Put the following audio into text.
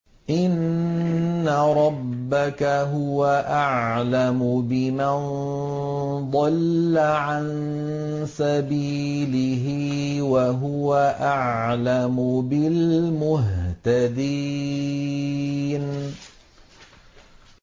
إِنَّ رَبَّكَ هُوَ أَعْلَمُ بِمَن ضَلَّ عَن سَبِيلِهِ وَهُوَ أَعْلَمُ بِالْمُهْتَدِينَ